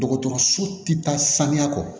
Dɔgɔtɔrɔso ti taa sanuya kɔ